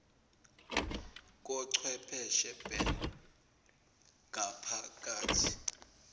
kochwepheshe ban gaphakathi